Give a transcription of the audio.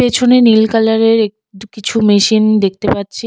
পেছনে নীল কালারের একটু কিছু মেশিন দেখতে পাচ্ছি।